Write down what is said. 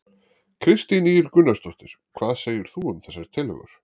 Kristín Ýr Gunnarsdóttir: Hvað segir þú um þessar tillögur?